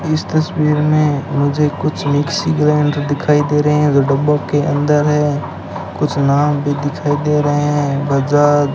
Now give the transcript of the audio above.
इस तस्वीर में मुझे कुछ मिक्सी ग्राइंडर दिखाई दे रहे हैं जो डब्बों के अंदर है कुछ नाम भी दिखाई दे रहे हैं बजाज --